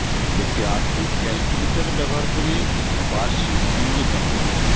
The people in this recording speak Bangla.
একটি আর্থিক ক্যালকুলেটর ব্যবহার করে একটি বার্ষিক বার্ষিক মূল্য গণনা